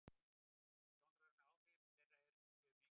Sjónræn áhrif þeirra séu mikil.